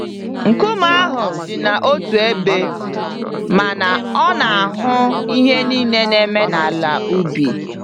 Nkume ahụ dina otú ébé, mana ọ na-ahụ ihe niile na-eme n'ala ubi.